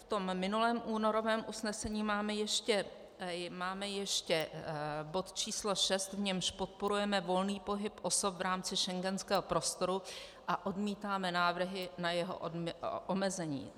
V tom minulém únorovém usnesení máme ještě bod č. 6, v němž podporujeme volný pohyb osob v rámci schengenského prostoru a odmítáme návrhy na jeho omezení.